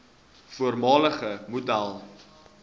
voormalige model